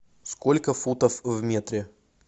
сколько футов в метре